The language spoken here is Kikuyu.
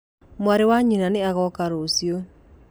Mwarĩ wa nyina nĩ agoka rũcio.